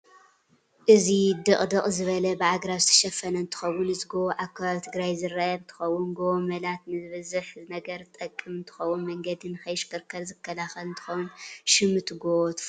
እዚ ድቅድቅ ዝ በለ ብኣግራብ ዝተሸፈነ እንትከውን እዚ ጎቦ ኣብ ከባብ ትግራይ ዝርከብ እ ንትከውን ጎቦ መላት ንብዝሕ ነገር ዝጠቅም እ ንትከውን መንገዲ ንክይሽርሸር ዝካላከል እንትከውን ሽም እቲ ጎ ትፍልጥዶ